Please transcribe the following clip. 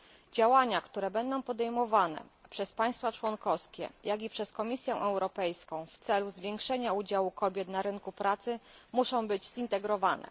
Działania, które będą podejmowane przez państwa członkowskie, jak i przez Komisję Europejską w celu zwiększenia udziału kobiet na rynku pracy muszą być zintegrowane.